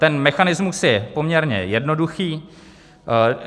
Ten mechanismus je poměrně jednoduchý.